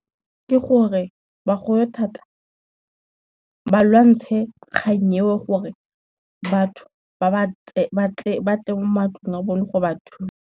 Ke gore bagolo thata, ba lwantshe kgang eo gore batho batle mo matlong a bone go ba thusa.